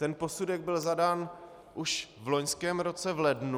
Ten posudek byl zadán už v loňském roce v lednu.